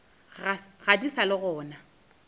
ga di sa le gona